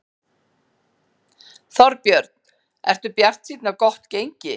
Þorbjörn: Ertu bjartsýn á gott gengi?